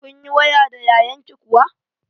Kun yi waya da yayanki kuwa?